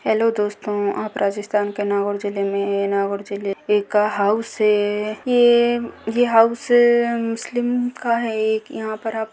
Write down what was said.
hello दोस्तों आप राजस्थान के नागौर जिले में हैं नागौर जिले का हाउस है ये हाउस मुस्लिम का है एक यहाँ पर आप --